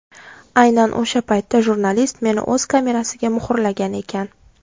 Aynan o‘sha paytda jurnalist meni o‘z kamerasiga muhrlagan ekan.